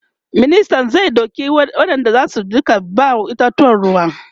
ministan zai ɗauki wayanda zasu Rika ba itatuwan ruwa